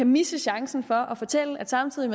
misse chancen for at fortælle at samtidig